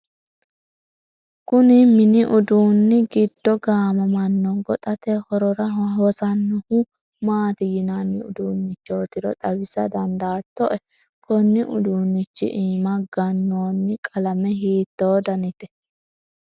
kuni mini uduunni giddo gaamamanno goxate horora hosannohu maati yinanni uduunnichootiro xawisa dandaattoe? konni uduunnichi iima gannoonni qalame hiitto danite?